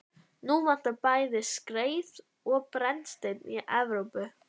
Nú vantar bæði skreið og brennistein í Evrópu.